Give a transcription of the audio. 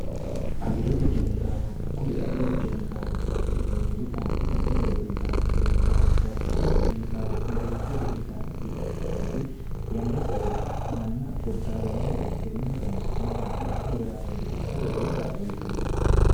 agirote kemikaalubba kuri agirote kemikaalubbaati yineemmuri addi addi horo uyitanno kemikaalubbaatittini kemikaale marichi horo uyitanno yineemmu beete yanna saewurichi manna goddaatannohi gede tenneho roonsi'ne addi addihore ameeyya ikkate lowo kaallo uyitannote